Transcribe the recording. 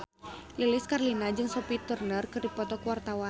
Lilis Karlina jeung Sophie Turner keur dipoto ku wartawan